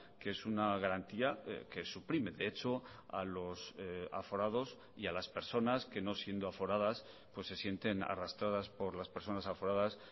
que es una garantía que suprime de hecho a los aforados y a las personas que no siendo aforadas pues se sienten arrastradas por las personas aforadas